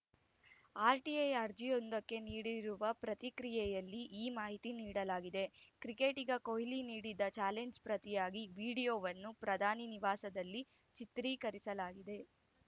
RTI ಅರ್ಜಿಯೊಂದಕ್ಕೆ ನೀಡಿರುವ ಪ್ರತಿಕ್ರಿಯೆಯಲ್ಲಿ ಈ ಮಾಹಿತಿ ನೀಡಲಾಗಿದೆ ಕ್ರಿಕೆಟಿಗ ಕೊಹ್ಲಿ ನೀಡಿದ್ದ ಚಾಲೆಂಜ್‌ಗೆ ಪ್ರತಿಯಾಗಿ ವಿಡಿಯೋವನ್ನು ಪ್ರಧಾನಿ ನಿವಾಸದಲ್ಲಿ ಚಿತ್ರೀಕರಿಸಲಾಗಿದೆ